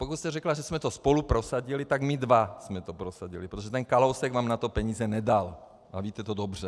Pokud jste řekla, že jsme to spolu prosadili, tak my dva jsme to prosadili, protože ten Kalousek vám na to peníze nedal, a víte to dobře.